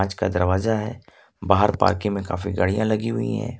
कांच का दरवाजा है बाहर पार्किंग में काफी गाड़ियां लगी हुई है।